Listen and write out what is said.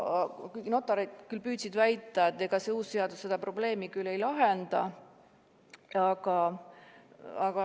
Notarid küll püüdsid väita, et ega see uus seadus seda probleemi ei lahenda.